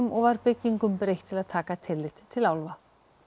og var byggingum breytt til að taka tillit til álfanna